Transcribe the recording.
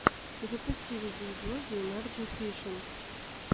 запусти видеоблоги энарджи фишинг